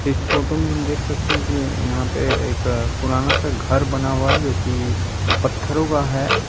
इस फोटो में हम देख सकते है की यहाँ पे एक पुराना सा घर बना हुआ है जो की पत्थरओ का है |